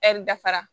Ɛri dafara